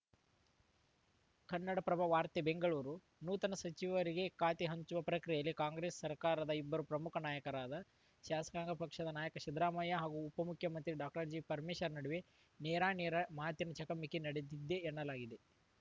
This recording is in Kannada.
ಕನ್ನಡಪ್ರಭ ವಾರ್ತೆ ಬೆಂಗಳೂರು ನೂತನ ಸಚಿವರಿಗೆ ಖಾತೆ ಹಂಚುವ ಪ್ರಕ್ರಿಯೆಯಲ್ಲಿ ರಾಜ್ಯ ಕಾಂಗ್ರೆಸ್‌ ಸರ್ಕಾರದ ಇಬ್ಬರು ಪ್ರಮುಖ ನಾಯಕರಾದ ಶಾಸಕಾಂಗ ಪಕ್ಷದ ನಾಯಕ ಸಿದ್ದರಾಮಯ್ಯ ಹಾಗೂ ಉಪ ಮುಖ್ಯಮಂತ್ರಿ ಡಾಕ್ಟರ್ ಜಿ ಪರಮೇಶ್ವರ್‌ ನಡುವೆ ನೇರಾನೇರ ಮಾತಿನ ಚಕಮಕಿ ನಡೆದಿದೆ ಎನ್ನಲಾಗಿದೆ